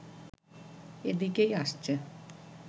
এদিকেই আসছে